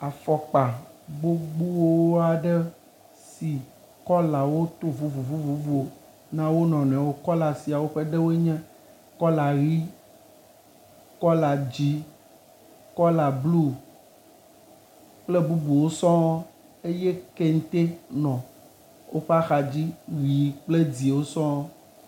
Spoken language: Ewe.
Afɔkpa gbogbo aɖe si kɔla woto vovovovo na wonɔnɔɛwo, kɔla sia woenye kɔla ɣi, kɔla dzĩ, kɔla blu kple bubuwo sɔŋŋ eye keŋte nɔ woƒe axa dzi ɣi kple dzĩ wo sɔŋŋ.